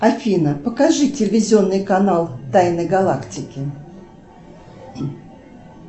афина покажи телевизионный канал тайны галактики